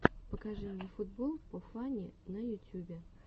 покажи мне футбол по фани на ютюбе